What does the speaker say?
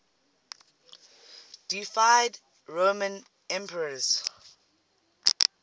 deified roman emperors